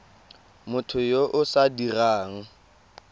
motho yo o sa dirang